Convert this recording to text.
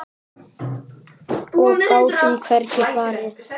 Og gátum hvergi farið.